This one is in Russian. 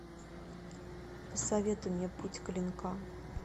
посоветуй мне путь клинка